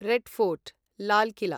red fort Lal किल